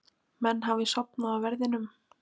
Menn hafi sofnað á verðinum?